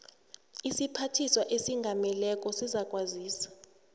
isiphathiswa esingameleko sizakwazisa